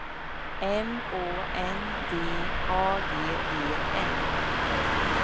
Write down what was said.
M Å N D A G E N